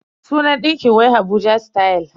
Sunan ɗinkin wai Abuja style.